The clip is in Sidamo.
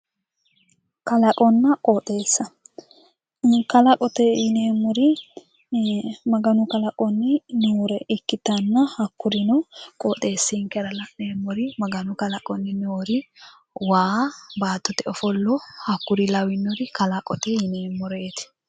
kalaqonna qooxeessa kalaqote yineemmori maganu kalaqonni noore ikkitanna hakkuri qooxeessinkera la'neemmori maganu kalaqonni noori waanna baattote ofollo lawinore kalaqote yineemmoreeti.